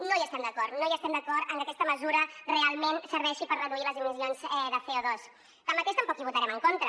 no hi estem d’acord no estem d’acord amb que aquesta mesura realment serveixi per reduir les emissions de cotanmateix tampoc hi votarem en contra